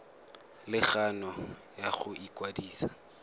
le kgano ya go ikwadisa